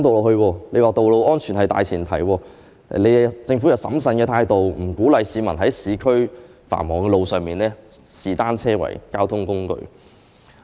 你還說在道路安全的大前提下，政府採取審慎的態度，不鼓勵市民在市區繁忙的道路上以單車作為交通工具。